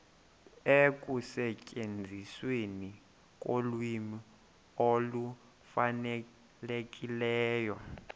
ekusetyenzisweni kolwimi olufanelekileyo